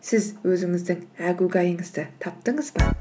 сіз өзіңіздің әгугайыңызды таптыңыз ба